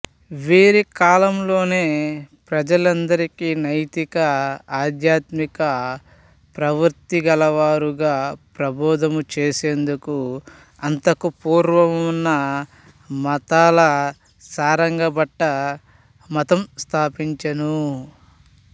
వీరి కాలంలోనే ప్రజలందరికీ నైతిక ఆధ్యాత్మిక ప్రవృత్తి గలవారుగా ప్రభోధము చేసేందుకు అంతకు పూర్వమున్న మతాల సారంగభట్ట మతం స్థాపించెను